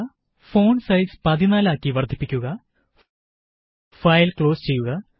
001113 001112 font size 16 ആക്കി വര്ദ്ധിപ്പിക്കുക file close ചെയ്യുക